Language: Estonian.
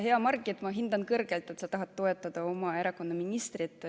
Hea Margit, ma hindan kõrgelt, et sa tahad toetada oma erakonna ministrit.